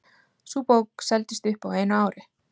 Sú bók seldist upp á einu ári.